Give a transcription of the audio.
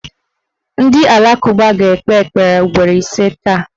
Ndị alakụba ga-ekpe ekpere ugboro ise taa